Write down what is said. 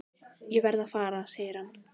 Ég verð að fara segir hann.